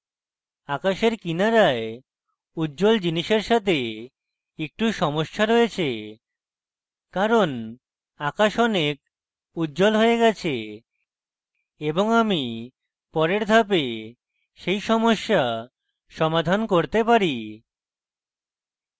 আকাশের কিনারায় উজ্জ্বল জিনিসের সাথে একটু সমস্যা রয়েছে কারণ আকাশ অনেক উজ্জ্বল হয়ে গেছে এবং আমি পরের ধাপে সেই সমস্যা সমাধান করতে there